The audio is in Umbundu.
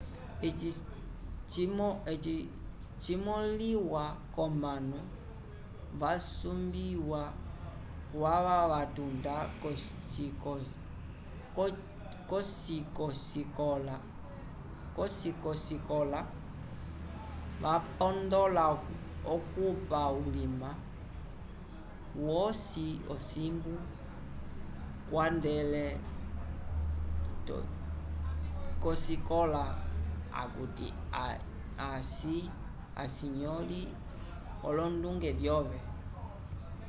eci cimoliwa comanu vasumbiwa kwava vatunda kosikocikola vapondola okupa ulima umosi ocimbu kwandele kosikola akuti aci nyoli olonduge vyove